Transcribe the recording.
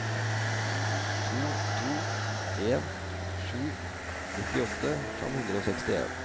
to to en sju nittiåtte fem hundre og sekstien